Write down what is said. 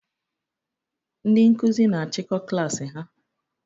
Ndị Nkụzi na achiko klass ha